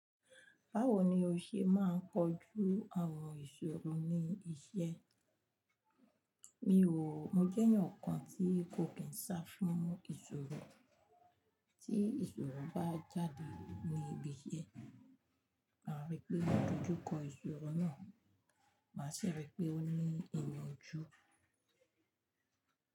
Báwo ni o ṣe máa ń kojú àwọn ìṣòro ní iṣẹ́? Mi ò, mo jẹ́ ènìyàn kan tí kò kín sá fún ìṣòro. Tí ìṣòro bá jáde ní ibi iṣẹ́, màá rí pé mo dojú kọ ìṣòro náà, màá sì rí pé ó ní ìyànjú.